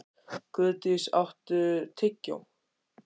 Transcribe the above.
Guðdís, áttu tyggjó?